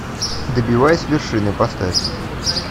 добиваясь вершины поставь